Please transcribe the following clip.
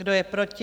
Kdo je proti?